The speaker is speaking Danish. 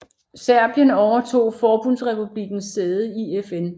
Serbien overtog forbundsrepublikkens sæde i FN